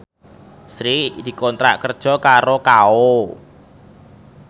Sri dikontrak kerja karo Kao